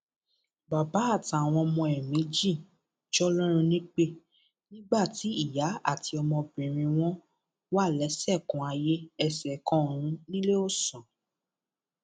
bàbá àtàwọn ọmọ ẹ méjì jọlọrun nípẹ nígbà tí ìyá àti ọmọbìnrin wọn wà lẹsẹkanayéẹsẹkanọrun níléeọsán